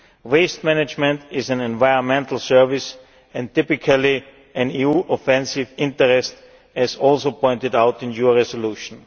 Waste management is an environmental service, and typically an EU offensive interest, as is also pointed out in your resolution.